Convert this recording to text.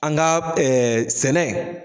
An ga ɛɛ sɛnɛ